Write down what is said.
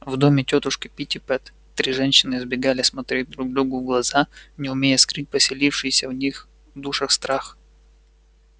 в доме тётушки питтипэт три женщины избегали смотреть друг другу в глаза не умея скрыть поселившийся в них душах страх